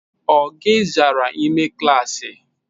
O o gi zara ime klaasị?